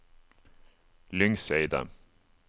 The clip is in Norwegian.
Lyngseidet